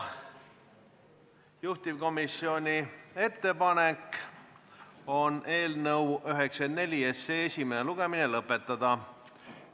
Juhtivkomisjoni ettepanek on eelnõu 94 esimene lugemine lõpetada.